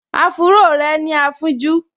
Áfúró rẹ̀ ní afínjú